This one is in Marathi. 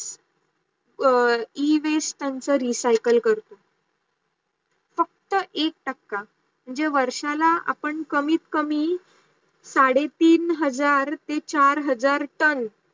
e-waste चा recycle करतो. फक्त एक टाक्या मन्हजे वर्षाला आपण कमीत कमी साडे तीन हजार ते चार हजार टेन